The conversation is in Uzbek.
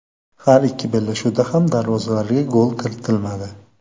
Har ikki bellashuvda ham darvozalarga gol kiritilmadi.